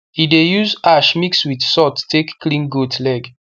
e dey use ash mix with salt take clean goat leg